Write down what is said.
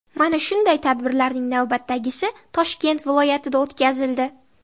Mana shunday tadbirlarning navbatdagisi Toshkent viloyatida o‘tkazildi.